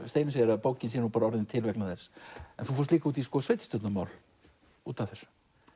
Steinunn segir að bókin sé til vegna þess en þú fórst líka út í sveitarstjórnarmál út af þessu